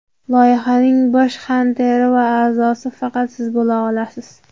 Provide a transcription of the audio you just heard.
Loyihaning bosh xanteri va a’zosi faqat siz bo‘la olasiz.